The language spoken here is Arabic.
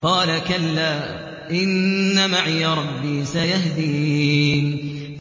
قَالَ كَلَّا ۖ إِنَّ مَعِيَ رَبِّي سَيَهْدِينِ